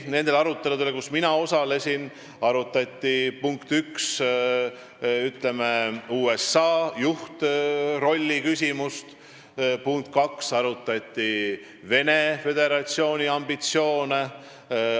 Nendel aruteludel, kus mina osalesin, arutati, punkt üks, USA juhtrolli küsimust, ja punkt kaks, Venemaa Föderatsiooni ambitsioone.